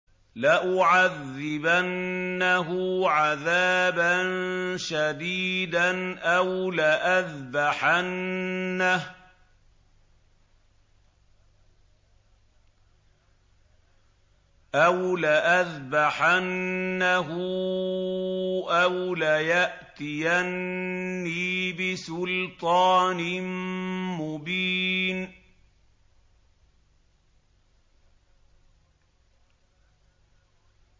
لَأُعَذِّبَنَّهُ عَذَابًا شَدِيدًا أَوْ لَأَذْبَحَنَّهُ أَوْ لَيَأْتِيَنِّي بِسُلْطَانٍ مُّبِينٍ